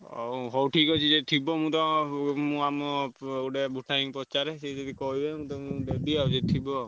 ହଉ ହଉ ଠିକ୍ ଅଛି ଯଦି ଥିବ ମୁଁ ଆମ ପ~ ଗୋଟେ ପଚାରେ ସିଏ ଯଦି କହିବେ ମୁଁ ତମକୁ ଦେବି ଆଉ ଯଦି ଥିବ।